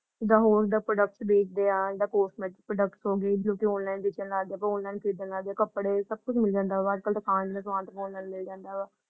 ਜਿਦਾ ਹੋਰ ਦਾ products ਬੇਚ ਦੇ ਹਾਂ ਜਾ cosmetic products ਹੋਗੇ ਜੋ ਕੇ ਬੇਚਣ ਲੱਗਜੇ ਔਨਲਾਈਨ ਖਰੀਦਣ ਲੱਗਜੇ ਕੱਪੜੇ ਸਬ ਕੁਛ ਮਿਲ ਜਾਂਦਾ ਵਾ ਅੱਜ-ਕਲ ਦੁਕਾਨ ਦੇ ਦੁਕਾਨ ਦਾ ਵੀ ਮਿਲ ਜਾਂਦਾ ਵਾ ।